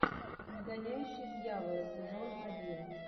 изгоняющий дьявола сезон один